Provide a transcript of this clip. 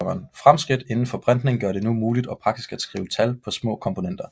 Fremskridt indenfor printning gør det nu muligt og praktisk at skrive tal på små komponenter